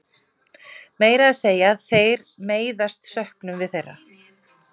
Meira að segja þegar þeir meiðast söknum við þeirra.